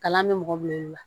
Kalan bɛ mɔgɔ bila i la